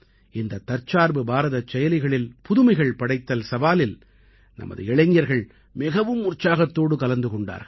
இந்த தற்சார்பு பாரதச் செயலிகளில் புதுமைகள் படைத்தல் சவாலில் நமது இளைஞர்கள் மிகவும் உற்சாகத்தோடு கலந்து கொண்டார்கள்